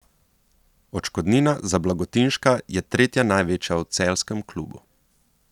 Odškodnina za Blagotinška je tretja največja v celjskem klubu.